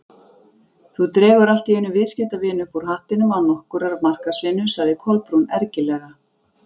Þú dregur allt í einu viðskiptavin upp úr hattinum án nokkurrar markaðsvinnu- sagði Kolbrún ergilega.